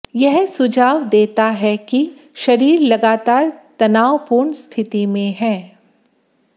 यह सुझाव देता है कि शरीर लगातार तनावपूर्ण स्थिति में है